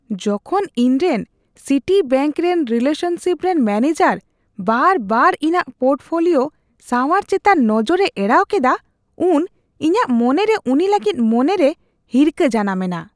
ᱡᱚᱠᱷᱚᱱ ᱤᱧᱨᱮᱱ ᱥᱤᱴᱤᱵᱮᱝᱠ ᱨᱮᱱ ᱨᱤᱞᱮᱥᱚᱱᱥᱤᱯ ᱨᱮᱱ ᱢᱮᱱᱮᱡᱟᱨ ᱵᱟᱨᱵᱟᱨ ᱤᱧᱟᱹᱜ ᱯᱳᱨᱴᱯᱷᱳᱞᱤᱳ ᱥᱟᱶᱟᱨ ᱪᱮᱛᱟᱱ ᱱᱚᱡᱚᱨᱮ ᱮᱲᱟᱣ ᱠᱮᱫᱟ, ᱩᱱ ᱤᱧᱟᱹᱜ ᱢᱚᱱᱮᱨᱮ ᱩᱱᱤ ᱞᱟᱹᱜᱤᱫ ᱢᱚᱱᱮᱨᱮ ᱦᱤᱨᱠᱷᱟᱹ ᱡᱟᱱᱟᱢᱮᱱᱟ ᱾